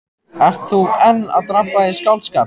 Ert þú enn að drabba í skáldskap?